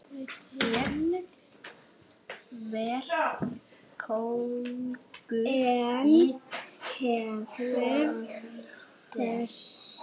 Ég var kóngur í korter.